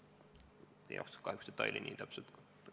Kahjuks ma neid detaile ei tea.